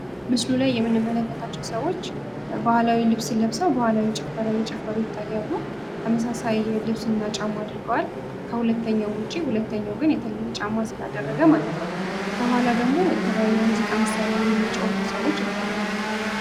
ምስሉ ላይ የምንመለከታቸው ሰዎች ባህላዊ ልብስ ለብሰው ባህላዊ ጭፈራ እየጨፈሩ ይታያሉ። ተመሳሳይ ልብስና ጫማ አድርገዋል። ከሁለተኛው ውጭ ሁለተኛው ግን የተለየ ጫማ ስላደረገ ማለት ነው። ከኋላ ደግሞ የተለያየ ሙዚቃ መሳሪያን የሚጫወቱ ሰዎች ይታያሉ።